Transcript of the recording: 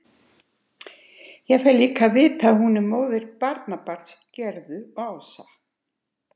Ég fæ líka að vita að hún er móðir barnabarns Gerðu og Ása.